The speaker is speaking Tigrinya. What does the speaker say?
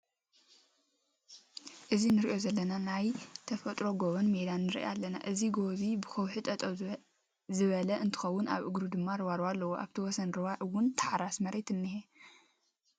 እዚ ንሪኦ ዘለና ናይ ተፋጥሪ ጎቦን ሜዳን ንርኢ ኣለና። አዚ ጎቦ እዚ ብከውሒ ጠጠው ዝበለ እንትከውን ኣብ እግሩ ድማ ሩባሩባ ኣለዎ። ኣብቲ ወሰን ረባ እውን ተሓራሲ መሬት እኒሄ።